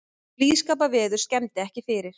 Blíðskaparveður skemmdi ekki fyrir